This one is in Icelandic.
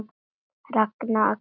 Ragna, Axel og Jenný.